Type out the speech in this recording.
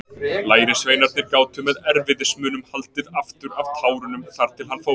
Lærisveinarnir gátu með erfiðismunum haldið aftur af tárunum þar til hann fór.